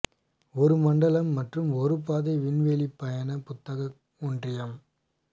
ஒரு மண்டலம் மற்றும் ஒரு பாதை விண்வெளிப் பயண புத்தாக்க ஒன்றியம்